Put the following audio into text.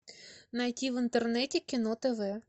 найти в интернете кино тв